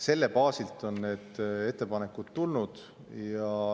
Selle baasil on need ettepanekud tulnud.